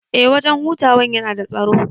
Eh wajan hutawan yana da tsaro